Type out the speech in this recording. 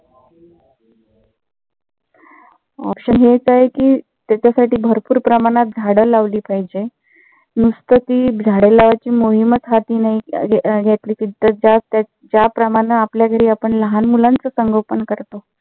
option हेच आहे कि त्याच्यासाठी भरपूर प्रमाणत झाडं लावली पाहिजे. नुसत ती झाड लावायची मोहीमच हाती नाही घेतली तर ज्या प्रमाण आपल्या घरी आपण लहान मुलाचं संगोपन करतो.